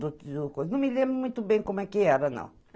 do do coisa. Não me lembro muito bem como é que era, não.